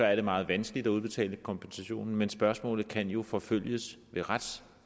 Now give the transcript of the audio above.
er det meget vanskeligt at udbetale kompensationen men spørgsmålet kan jo forfølges